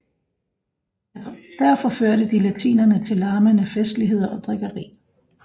Der forførte de latinerne til larmende festligheder og drikkeri